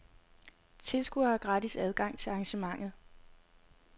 Tilskuere har gratis adgang til arrangementet.